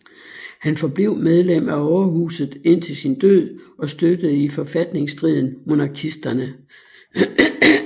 Han forblev medlem af overhuset indtil sin død og støttede i forfatningsstriden monarkisterne